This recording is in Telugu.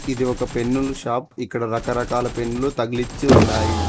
ఇది ఒక పెన్ను ల షాప్ ఇక్కడ రకరకాల పెన్ను లు తగిలించి ఉన్నాయి.